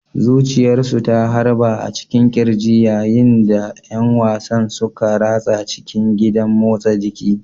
Zuciyarsu ta harba a cikin ƙirji yayin da ƴan wasan suka ratsa cikin gidan motsa jiki.